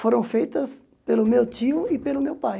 foram feitas pelo meu tio e pelo meu pai.